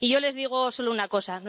Y yo les digo solo una cosa.